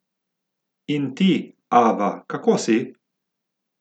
In ti, Ava, kako si?